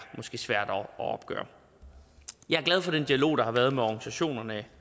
svære at opgøre jeg er glad for den dialog der har været med organisationerne